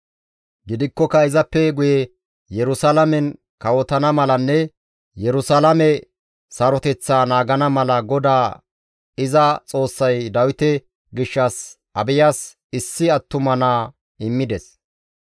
Gidikkoka izappe guye Yerusalaamen kawotana malanne Yerusalaame saroteththaa naagana mala GODAA iza Xoossay Dawite gishshas Abiyas issi attuma naa immides.